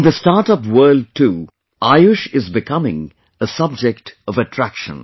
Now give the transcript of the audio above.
In the startup world too, AYUSH is becoming a subject of attraction